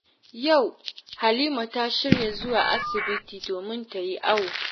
Yau Halima ta shirya zuwa asibiti, domin ta yi awo